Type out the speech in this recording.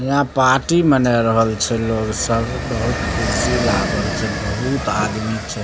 यहाँ पार्टी मनाय रहल छै लोग सब बहुत कुर्सी लागल छै बहुत आदमी छै।